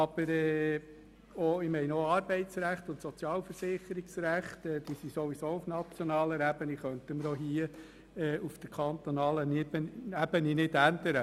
Das Arbeits- und das Sozialversicherungsrecht ist auf nationaler Ebene geregelt und das können wir auf kantonaler Ebene nicht ändern.